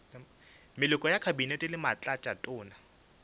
maloko a kabinete le batlatšatona